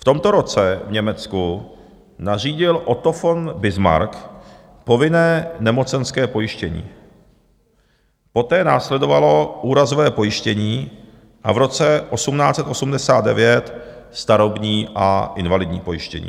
V tomto roce v Německu nařídil Otto von Bismarck povinné nemocenské pojištění, poté následovalo úrazové pojištění a v roce 1889 starobní a invalidní pojištění.